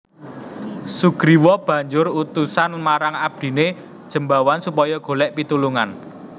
Sugriwa banjur utusan marang abdiné Jembawan supaya golèk pitulungan